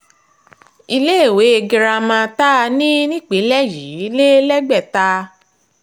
iléèwé girama tá a ní nípínlẹ̀ yìí lè lẹ́gbẹ̀ta